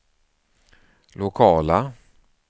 lokala